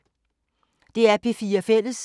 DR P4 Fælles